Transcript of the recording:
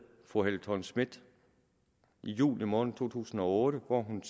fru helle thorning schmidt i juli måned to tusind og otte hvor hun